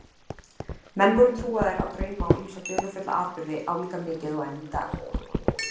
Menn voru trúaðir á drauma og ýmsa dularfulla atburði álíka mikið og enn í dag.